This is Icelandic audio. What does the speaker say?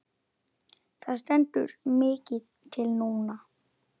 Það stendur mikið til núna.